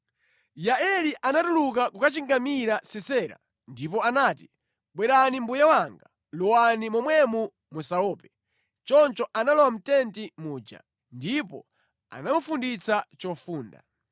Yaeli anatuluka kukachingamira Sisera ndipo anati, “Bwerani mbuye wanga, lowani momwemo musaope.” Choncho analowa mʼtenti muja, ndipo anamufunditsa chofunda.